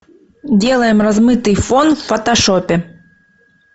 делаем размытый фон в фотошопе